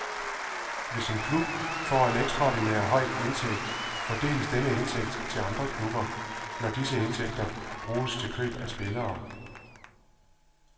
Hvis en klub får en ekstraordinær høj indtægt, fordeles denne indtægt til andre klubber, når disse indtægter bruges til køb af spillere.